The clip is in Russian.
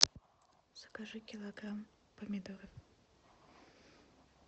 закажи килограмм помидор